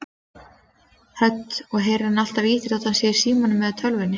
Hödd: Og heyrir hann alltaf í þér þó hann sé í símanum eða tölvunni?